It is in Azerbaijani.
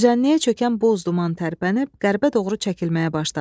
Düzənliyə çökən buz duman tərpənib qərbə doğru çəkilməyə başladı.